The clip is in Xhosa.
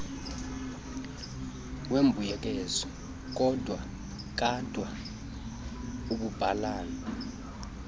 wembuyekezo kadwa umbhalana